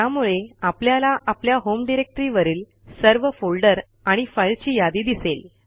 त्यामुळे आपल्याला आपल्या होम डायरेक्टरी वरील सर्व फोल्डर आणि फाईलची यादी दिसेल